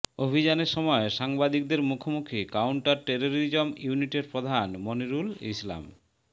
অভিযানের সময় সাংবাদিকদের মুখোমুখি কাউন্টার টেররিজম ইউনিটের প্রধান মনিরুল ইসলাম